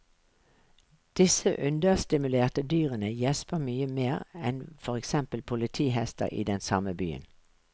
Disse understimulerte dyrene gjesper mye mer enn for eksempel politihester i den samme byen.